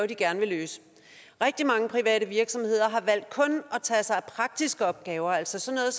de gerne vil løse rigtig mange private virksomheder har valgt kun at tage sig af praktiske opgaver altså sådan